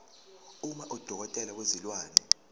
uma udokotela wezilwane